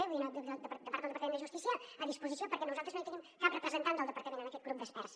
vull dir per part del departament de justícia a disposició perquè nosaltres no hi tenim cap representant del departament en aquest grup d’experts